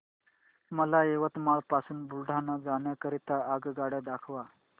मला यवतमाळ पासून बुलढाणा जाण्या करीता आगगाड्या दाखवा